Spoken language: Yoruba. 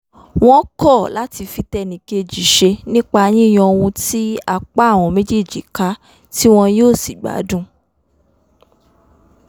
wọ́n kọ́ láti fi tẹnìkejì ṣe nípa yíyan ohun tí apá àwọn méjèèjí ká tí won yóò sì gbádùn